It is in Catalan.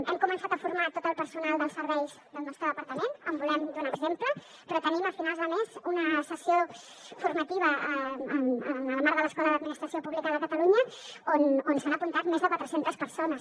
hem començat a formar tot el personal dels serveis del nostre departament volem donar exemple però tenim a finals de mes una sessió formativa en el marc de l’escola d’administració pública de catalunya on s’han apuntat més de quatre centes persones